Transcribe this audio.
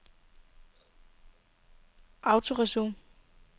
autoresume